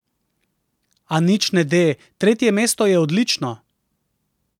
A nič ne de, tretje mesto je odlično!